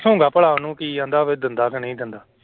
ਪੁੱਛਾਂਗਾ ਭਲਾ ਉਹਨੂੰ ਕੀ ਕਹਿੰਦਾ ਵੀ ਦਿੰਦਾ ਕਿ ਨਹੀਂ ਦਿੰਦਾ।